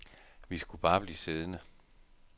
Vi skulle bare blive siddende.